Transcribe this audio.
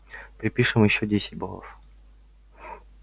припишем ещё десять баллов